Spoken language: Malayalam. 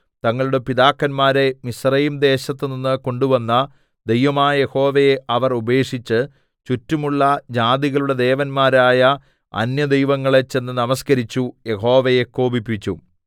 തങ്ങളുടെ പിതാക്കന്മാരെ മിസ്രയീംദേശത്തുനിന്ന് കൊണ്ടുവന്ന ദൈവമായ യഹോവയെ അവർ ഉപേക്ഷിച്ച് ചുറ്റുമുള്ള ജാതികളുടെ ദേവന്മാരായ അന്യദൈവങ്ങളെ ചെന്ന് നമസ്കരിച്ചു യഹോവയെ കോപിപ്പിച്ചു